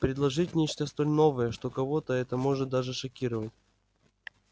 предложить нечто столь новое что кого-то это может даже шокировать